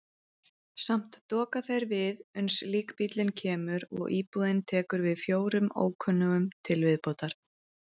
Samt doka þeir við uns líkbíllinn kemur og íbúðin tekur við fjórum ókunnugum til viðbótar.